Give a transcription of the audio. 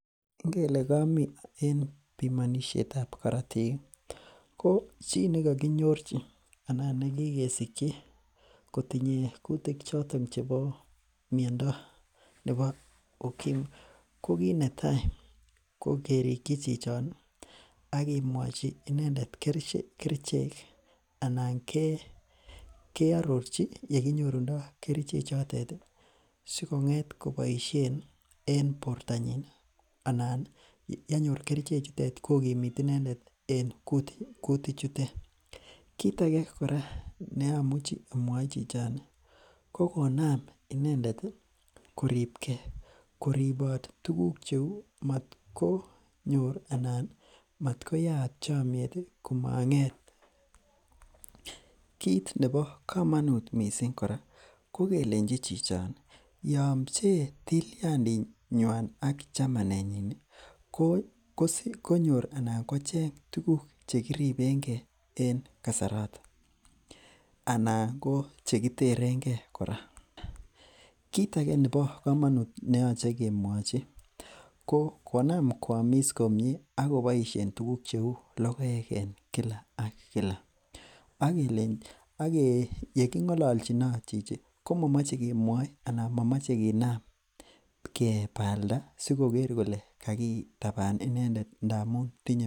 Ngele komii en pimonisiet ab korotik ko chii nekokinyorchi anan nekikesikyi kotinye kutik choton chebo miondo nebo ukimwi ko kit netaa ko kerikyi chichon ih ak kemwochi inendet kerichek anan ke arorchi yekinyorundo kerichek chotet ih sikong'et koboisien en bortonyin anan yenyor kerichek chutet ih kokimit inendet en kutik chutet. Kit age kora nemomuche amwoi chichon ko konam chichondo koribegee, koribot tuguk cheu matkonyor anan matkoyaat chomiet kamang'et. Kit nebo komonut kora ko kelenji chichon ih yon pchee tilyanditnywan ak chamanenyin ko konyor anan ko cheng tuguk chekiribengee en kasaraton anan ko chekiteren gee kora. Kit age nebo komonut neyoche kemwochi ko konam koamis komie ak koboisien tuguk cheu logoek en kila ak kila, ak yeking'ololchinot chichi komomoche kemwoi ana momoche kinam kebalda sikoker kole kakitaban inendet ndamun tinye